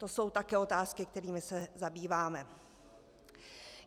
To jsou také otázky, kterými se zabýváme.